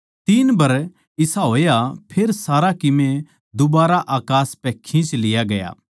तीन बर इसा होया फेर सारा कीमे दुबारा अकास पै खींच लिया गया